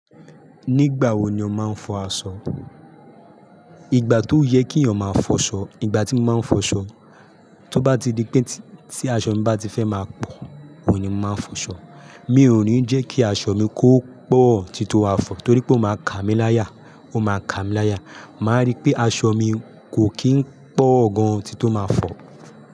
Nígbà wo ni ó máa ń fọ aṣọ? Ìgbà tó yẹ kí èèyàn máa fọ̀ṣọ. Ìgbà tí mo máa ń fọ̀ṣọ, tó bá ti di pé tí aṣọ mi bá ti fẹ́ máa pọ̀, òun ní mo máa n fọ̀ṣọ. Mi ò ní jẹ́ kí aṣọ mi kó pọ̀ títí ó máa fọ̀ torí pé ó máa ka mi láyà, ó máa ka mi láyà. Mọ máa rí pé aṣọ mi kò kí ń pọ̀ gan tító máa fọ̀